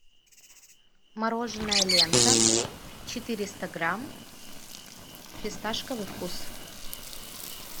мороженое лента четыреста грамм фисташковый вкус